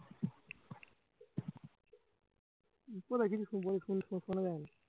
শুন শুনা যায় না